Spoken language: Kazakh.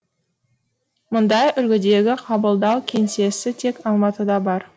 мұндай үлгідегі қабылдау кеңсесі тек алматыда бар